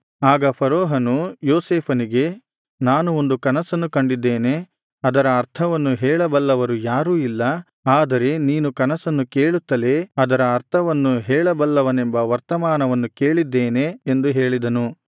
ಆಗ ಫರೋಹನು ಯೋಸೇಫನಿಗೆ ನಾನು ಒಂದು ಕನಸನ್ನು ಕಂಡಿದ್ದೇನೆ ಅದರ ಅರ್ಥವನ್ನು ಹೇಳ ಬಲ್ಲವರು ಯಾರೂ ಇಲ್ಲ ಆದರೆ ನೀನು ಕನಸನ್ನು ಕೇಳುತ್ತಲೇ ಅದರ ಅರ್ಥವನ್ನು ಹೇಳ ಬಲ್ಲವನೆಂಬ ವರ್ತಮಾನವನ್ನು ಕೇಳಿದ್ದೇನೆ ಎಂದು ಹೇಳಿದನು